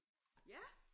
Ja!